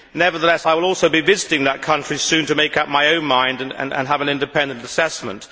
Nevertheless, I will also be visiting that country soon to make up my own mind and have an independent assessment.